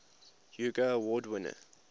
hugo award winner